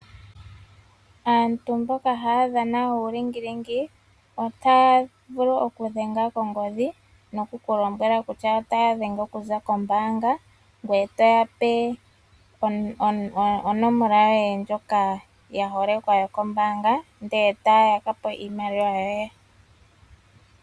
Aantu mboka haya dhana uulingilingi otaya vulu okudhenga kongodhi noku kulimbwela kutya otaya dhenge okuza kombaanga ngoye toyape onomola ndjoka yaholekwa yokombanga ndele taya yakapo iimaliwa yoye.